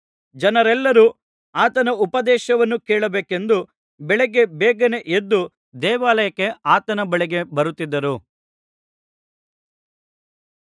ಜನರೆಲ್ಲರು ಆತನ ಉಪದೇಶವನ್ನು ಕೇಳಬೇಕೆಂದು ಬೆಳಗ್ಗೆ ಬೇಗನೆ ಎದ್ದು ದೇವಾಲಯಕ್ಕೆ ಆತನ ಬಳಿಗೆ ಬರುತ್ತಿದ್ದರು